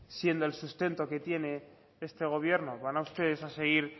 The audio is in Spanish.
siendo el sustento que tiene este gobierno van ustedes a seguir